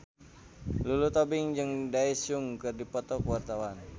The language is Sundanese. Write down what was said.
Lulu Tobing jeung Daesung keur dipoto ku wartawan